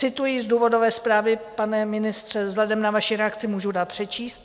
Cituji z důvodové zprávy, pane ministře, vzhledem k vaší reakci můžu dát přečíst.